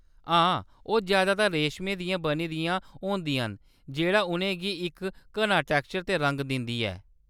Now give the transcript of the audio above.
हां, ओह्‌‌ जैदातर रेश्मै दियां बनी दियां होंदियां न जेह्‌‌ड़ा उʼनें गी इक घना टैक्स्चर ते रंग दिंदा ऐ।